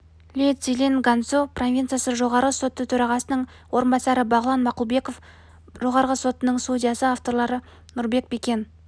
ли цзилинь ганьсу провинциясы жоғары соты төрағасының орынбасары бағлан мақұлбеков жоғарғы сотының судьясы авторлары нұрбек бекен